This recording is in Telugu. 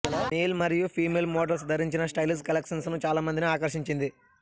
మేల్ మరియు ఫీమేల్ మోడ్రల్స్ ధరించిన స్టైలిష్ కలెక్షన్స్ ను చాలా మందిని ఆకర్షించింది